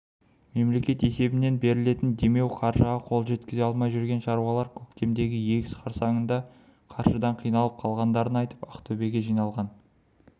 мемлекет есебінен берілетін демеу қаржыға қол жеткізе алмай жүрген шаруалар көктемгі егіс қарсаңында қаржыдан қиналып қалғандарын айтып ақтөбеге жиналған